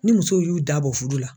Ni musow y'u da bɔ fudu la